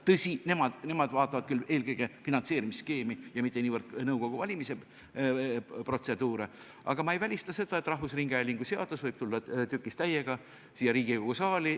Tõsi, nemad vaatavad küll eelkõige finantseerimisskeemi, mitte niivõrd nõukogu valimise protseduuri, aga ma ei välista, et rahvusringhäälingu seadus võib täiega tükkis tulla siia Riigikogu saali.